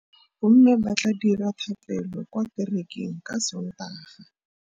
Bommê ba tla dira dithapêlô kwa kerekeng ka Sontaga.